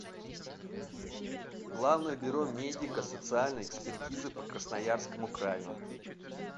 главное бюро медико социальной экспертизы по красноярскому краю